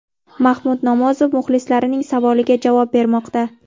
Mahmud Nomozov muxlislarining savoliga javob bermoqda.